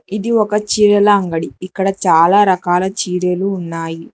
ఇది ఒక చీరల అంగడి ఇక్కడ చాలా రకాల చీరలు ఉన్నాయి.